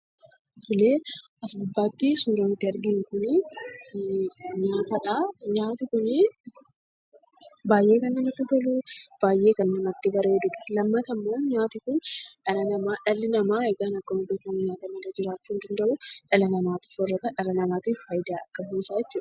Tole, as gubbaatti suuraan nuti arginu kun, nyaatadha. Nyaati kuni baayyee kan namatti tolu, baayyee kan namatti bareedudha. Lammata ammoo nyaati kun dhala namaa, dhalli namaa egaa akkuma beekkamu nyaata malee jiraachuu hin danda'u. Dhala namaatu soorrata. Dhala namaatiif fayidaa qabuusaa jechuudha.